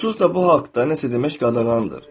Onsuz da bu haqda nəsə demək qadağandır.